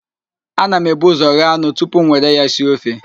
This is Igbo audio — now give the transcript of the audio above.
Ana m ebu ụzọ ghee anụ tupu m nwere ya sie ofe